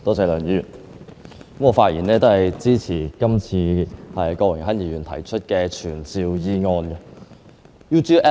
梁議員，我發言支持郭榮鏗議員動議的傳召議案。